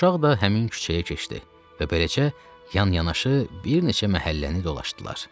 Uşaq da həmin küçəyə keçdi və beləcə yan-yanaşı bir neçə məhəlləni dolaşdılar.